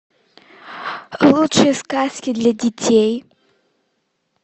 лучшие сказки для детей